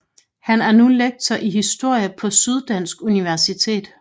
Han er nu lektor i historie på Syddansk Universitet